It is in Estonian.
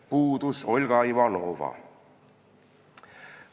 Puudus Olga Ivanova.